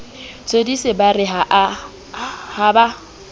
thodise ba re ha ba